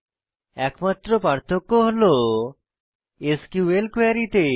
একমাত্র পার্থক্য হল এসকিউএল কোয়েরী তে